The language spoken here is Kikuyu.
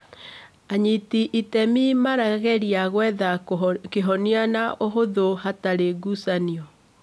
Anyiti itemi marageria gwetha kĩhonia na ũhũthũ hatarĩ ngucanio